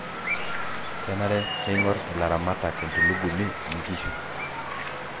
kenare neing'or ilaramatak entulugumi inkishu.